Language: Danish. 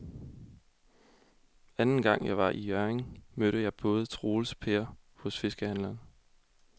Anden gang jeg var i Hjørring, mødte jeg både Troels og Per hos fiskehandlerne.